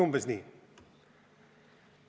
Umbes nii.